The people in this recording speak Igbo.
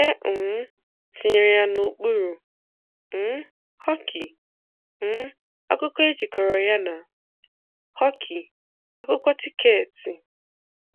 É um tìnyèrè yà n'òkpúrù: um Hockey, um Ákụ́kọ́ é jìkọ̀rọ̀ yá nà:hockey, ákwụ́kwọ́ tíkeètị̀